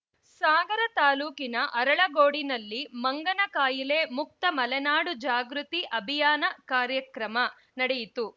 ಸಾಗರ ತಾಲೂಕಿನ ಅರಳಗೋಡಿನಲ್ಲಿ ಮಂಗನಕಾಯಿಲೆ ಮುಕ್ತ ಮಲೆನಾಡು ಜಾಗೃತಿ ಅಭಿಯಾನ ಕಾರ್ಯಕ್ರಮ ನಡೆಯಿತು